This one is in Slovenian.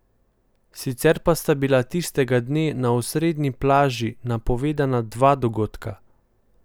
Sicer pa sta bila tistega dne na osrednji plaži napovedana dva dogodka.